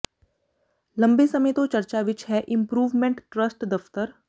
ਲੰਬੇ ਸਮੇਂ ਤੋਂ ਚਰਚਾ ਵਿਚ ਹੈ ਇੰਪਰੂਵਮੈਂਟ ਟਰੱਸਟ ਦਫ਼ਤਰ